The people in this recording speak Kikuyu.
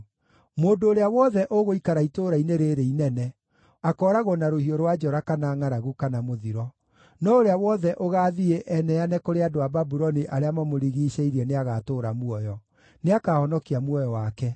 Mũndũ ũrĩa wothe ũgũikara itũũra-inĩ rĩĩrĩ inene, akooragwo na rũhiũ rwa njora, kana ngʼaragu, kana mũthiro. No ũrĩa wothe ũgaathiĩ eneane kũrĩ andũ a Babuloni arĩa mamũrigiicĩirie nĩagatũũra muoyo; nĩakahonokia muoyo wake.